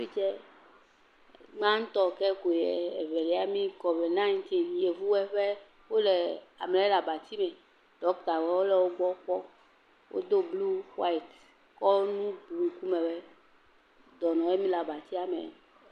Fi tsɛ, gbãtɔ ke ko ye, evelia mi, kɔvid yevuwɔe ƒe, wole amele le abati me, ɖɔktawɔe le wɔe gbɔ kpɔ. Wodo blu, xaeit, kɔ nu bu ŋkumewɔe. Dɔnɔwɔe mi le abatia me.